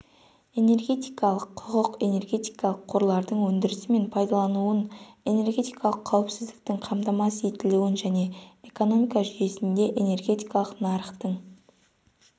энергетикалық құқық энергетикалық қорлардың өндірісі мен пайдаланылуын энергетикалық қауіпсіздіктің қамтамасыз етілуін және экономика жүйесінде энергетикалық нарықтың